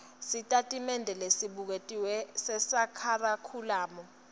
sitatimende lesibuketiwe sekharikhulamu